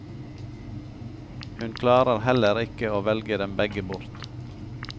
Hun klarer heller ikke å velge dem begge bort.